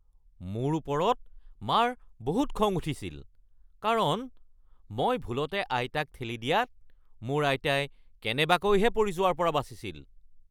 মোৰ ওপৰত মাৰ বহুত খং উঠিছিল কাৰণ মই ভুলতে আইতাক ঠেলি দিয়াত মোৰ আইতাই কেনেবাকৈহে পৰি যোৱাৰ পৰা বাচিছিল।